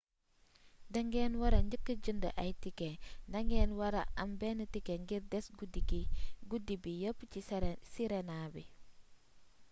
da ngen wara jëka jënd ay ticket ndagen wara am ben ticket ngir des gudi bi yëp si sirena bi